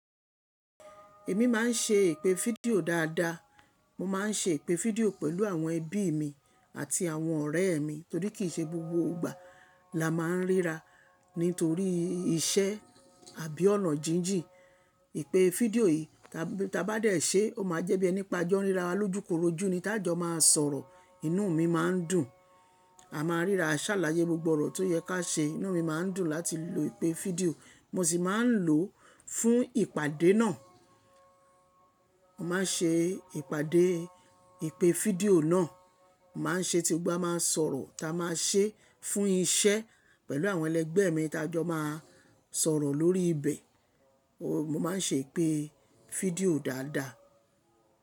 Èmi máà ń ṣe ìpè fídíò dáadáa. Mo máà ń ṣe ìpè fídíò pẹ̀lú àwọn ẹbí mi àti àwọn ọ̀rẹ́ mi torí kì í ṣe gbogbo ìgbà la máa ń ríra nítorí iṣẹ́ àbí ọ̀nà jíjìn. Ìpè fídíò yìí tí a bá dẹ̀ ṣe, ó máa jẹ́ bí ẹni pé a jọ́ ń ríra wa lójúkorojú ni ta a jọ máa sọ̀rọ̀, inú mi máa ń dùn. A máa ń ríra a ṣáláyé gbogbo ọ̀rọ̀ tó yẹ kí a ṣe, inú mi máa ń dùn láti lo ìpè fídíò. Mo sì máa ń lò ó fún ìpàdé náà. Mo máa ń ṣe ìpàdé ìpè fídíò náà, mo máa ń ṣe tí gbogbo wa máa sọ̀rọ̀, tá a máa ṣe fún iṣẹ́ pẹ̀lú àwọn ẹlẹgbẹ́ mi tá jọ máa sọ̀rọ̀ lórí ibẹ̀. Mo máa ń ṣe ìpè fídíò dáadáa.